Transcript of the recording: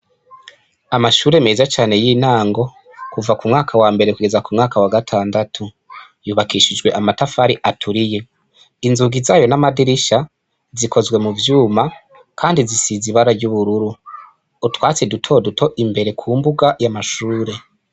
Amashure meza cane y' intango kuva kumwaka wambere kugeza kumwaka wa gatandatu yubakishijwe amatafari aturiye inzugi zayo n' amadirisha zikozwe muvyuma kandi zisize ibara ry' ubururu utwatsi duto duto imbere kumbuga y' amashure.